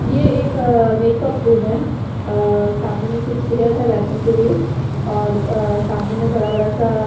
ये एक अ मेकअप रूम हैं अ सामने में कुछ चेयर हैं बैठने के लिए और अ सामने में बड़ा बड़ा सा--